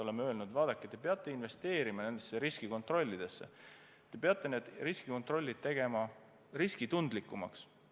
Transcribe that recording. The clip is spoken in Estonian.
Oleme öelnud, et vaadake, te peate investeerima nendesse riskikontrollidesse, te peate need riskikontrollid tegema riskitundlikumaks.